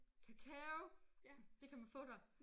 Kakao! Det kan man få der